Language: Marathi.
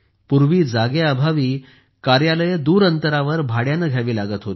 पूर्वी जागेअभावी लांब कार्यालये भाड्याने घ्यावी लागत होती